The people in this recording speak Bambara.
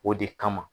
O de kama